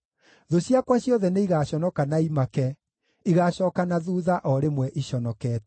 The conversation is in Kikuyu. Thũ ciakwa ciothe nĩigaconoka na imake; igaacooka na thuutha o rĩmwe iconokete.